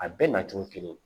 A bɛɛ nacogo kelen